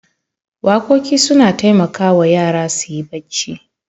Waƙoƙi suna taimakawa yara su yi bacci.